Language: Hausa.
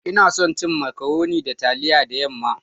Ina son cin " macaroni" da taliya da yam'ma